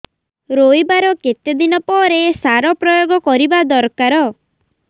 ରୋଈବା ର କେତେ ଦିନ ପରେ ସାର ପ୍ରୋୟାଗ କରିବା ଦରକାର